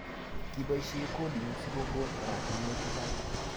Kipoishe coding sikokon oratinwek chechang'